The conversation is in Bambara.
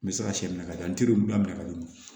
N bɛ se ka sɛ minɛ ka di yan n teri bila minɛ ka di